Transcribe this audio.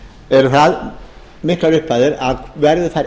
eru það miklar upphæðir að komi þær